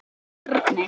Sigrún og Bjarni.